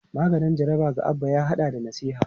Maganin jaraba ga Abba ya hada da nasiha.